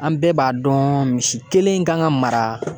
An bɛɛ b'a dɔn misi kelen kan ka mara